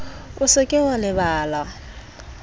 o se ke wa lebala